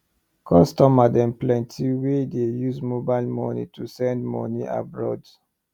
customer dem plenty wey dey use mobile way to send moni abroad